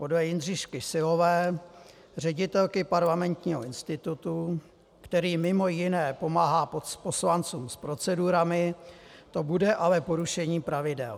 Podle Jindřišky Syllové, ředitelky Parlamentního institutu, který mimo jiné pomáhá poslancům s procedurami, to bude ale porušením pravidel.